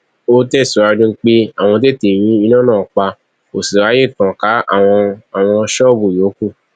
ó tẹsíwájú pé àwọn tètè rí iná náà pa kó sì ráàyè tàn ká àwọn àwọn ṣọọbù yòókù